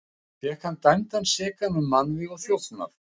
Fékk hann dæmdan sekan um mannvíg og þjófnað.